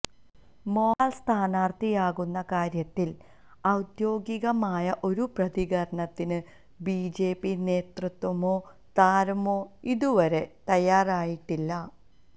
മോഹൻലാൽ സ്ഥാനാർഥിയാകുന്ന കാര്യത്തിൽ ഔദ്യോഗികമായ ഒരു പ്രതികരണത്തിന് ബിജെപി നേതൃത്വമോ താരമോ ഇതുവരെ തയ്യാറായിട്ടില്ല